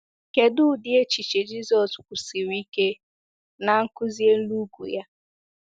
Kedụ ụdị echiche Jizọs kwusiri ike Nnkuzi Elu Ugwu ya?